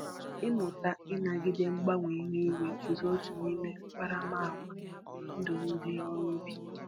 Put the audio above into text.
Ịmụta ịnagide mgbanwe ihu igwe bụzi otu n'ime akparamagwa ndụ ndị ọrụ ubi